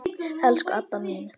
Elsku Adda mín.